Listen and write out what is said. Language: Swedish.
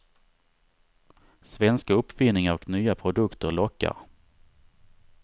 Svenska uppfinningar och nya produkter lockar.